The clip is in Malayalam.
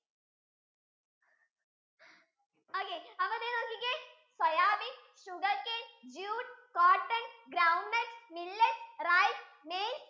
ഒക്കെ അപ്പൊ ദേ നോക്കിക്കേ soyabean, sugarcane, jute, cotton, groundnut, millet, rice, maize